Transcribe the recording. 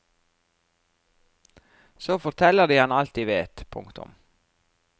Så forteller de ham alt de vet. punktum